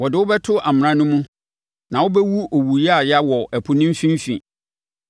Wɔde wo bɛto amena no mu, na wobɛwu owu yaaya wɔ ɛpo mfimfini.